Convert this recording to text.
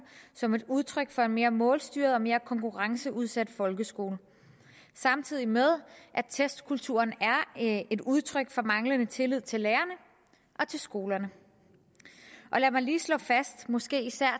som et udtryk for en mere målstyret og en mere konkurrenceudsat folkeskole samtidig med at testkulturen er et udtryk for manglende tillid til lærerne og til skolerne og lad mig lige slå fast måske især